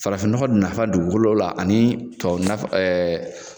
Farafin nɔgɔ nafa dugukolo la ani tubabu nafa